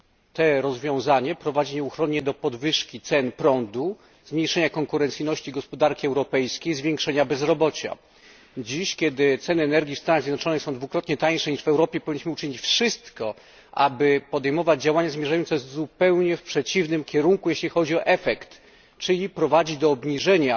To rozwiązanie prowadzi nieuchronnie do podwyżki cen prądu, zmniejszenia konkurencyjności gospodarki europejskiej, zwiększenia bezrobocia. Dziś, kiedy ceny energii w Stanach Zjednoczonych są dwukrotnie tańsze niż w Europie, powinniśmy uczynić wszystko, aby podejmować działania zmierzające zupełnie w przeciwnym kierunku, jeśli chodzi o efekt, czyli prowadzić do obniżenia